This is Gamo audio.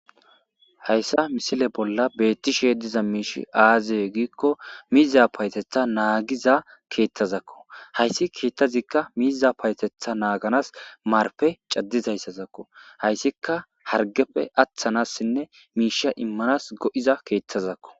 Hayissa missile bolla betishshe diiza mishshi aze gikko mizza payateththa naagiza keththakko hayiss keththazikka miza payateththa naganas marppe cadizayissazakko hayiisikka hatigeppe atanassinne mishsha imanas go'iza keththazakko .